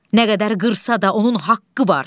Nə qədər qırsa da onun haqqı var.